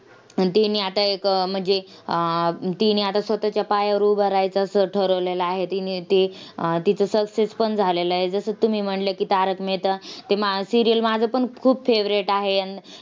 mbs ची app येत तुम्हाला तुमचं अ म्हणजे civil score वैगरे चांगला असेल तर directly तुम्हाला loan देऊन टाकत.पण काही या App अशे तयार झालेत की ब same त्याच्यासारख्या दिसतील तुम्हाला.